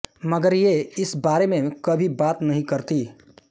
मगर ये इस बारे में कभी बात नहीं करतीं